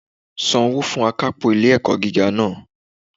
San owó fun akápò ilé ẹ̀kọ́ gíga náà